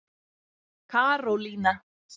Karólína